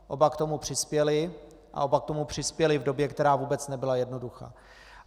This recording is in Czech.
Oba k tomu přispěli a oba k tomu přispěli v době, která vůbec nebyla jednoduchá.